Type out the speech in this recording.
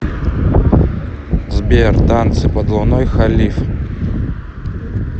сбер танцы под луной халиф